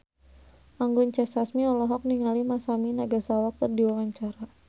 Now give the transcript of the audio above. Anggun C. Sasmi olohok ningali Masami Nagasawa keur diwawancara